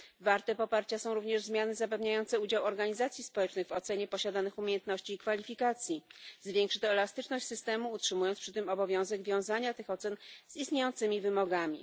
Warte poparcia są również zmiany zapewniające udział organizacji społecznych w ocenie posiadanych umiejętności i kwalifikacji. Zwiększy to elastyczność systemu, utrzymując przy tym obowiązek wiązania ocen z istniejącymi wymogami.